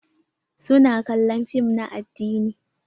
Su na kallon fim na addini.